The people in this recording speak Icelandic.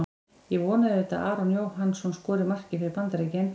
Ég vona auðvitað að Aron Jóhannsson skori markið fyrir Bandaríkin.